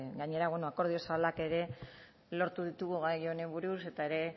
gainera bueno akordio zabalak ere lortu ditugu gai honi buruz eta ere